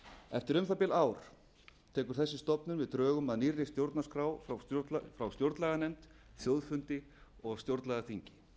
eftir um það bil ár tekur þessi stofnun við drögum að nýrri stjórnarskrá frá stjórnlaganefnd þjóðfundi og stjórnlagaþingi